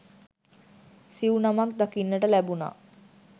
සිව් නමක් දකින්නට ලැබුණා.